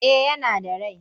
Eh yana da rai.